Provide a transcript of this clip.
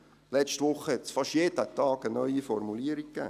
Letzte Woche gab es fast jeden Tag eine neue Formulierung.